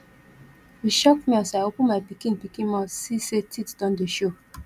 e shock me as i open my pikin pikin mouth see sey teeth don dey show